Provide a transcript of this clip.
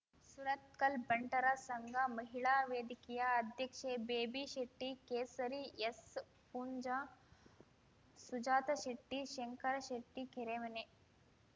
ಸುರತ್ಕಲ್ ಬಂಟರ ಸಂಘ ಮಹಿಳಾ ವೇದಿಕೆಯ ಅಧ್ಯಕ್ಷೆ ಬೇಬಿ ಶೆಟ್ಟಿ ಕೇಸರಿ ಎಸ್ ಪೂಂಜ ಸುಜಾತ ಶೆಟ್ಟಿ ಶಂಕರ ಶೆಟ್ಟಿ ಕೆರೆಮನೆ